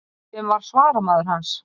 Sem var svaramaður hans.